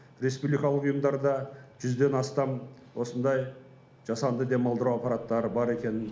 республикалық ұйымдарда жүзден астам осындай жасанды демалдыру аппараттары бар екенін